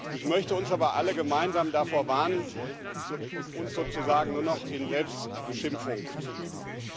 Ich möchte uns aber alle gemeinsam davor warnen, uns sozusagen nur noch in Selbstbeschimpfung zu üben.